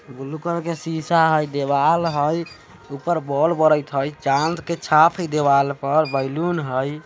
Blue colour का शीशा है दीवाल है ऊपर बोल बरेत है चाँद का छाप है दीवाल पर और बैलून है।